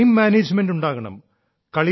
time management ഉണ്ടാകണം